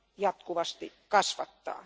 jatkuvasti kasvattaa.